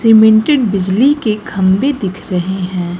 Cemented बिजली के खंभे दिख रहे हैं।